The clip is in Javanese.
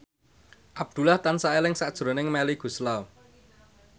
Abdullah tansah eling sakjroning Melly Goeslaw